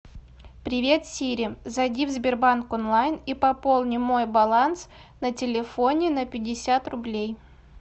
привет сири зайди в сбербанк онлайн и пополни мой баланс на телефоне на пятьдесят рублей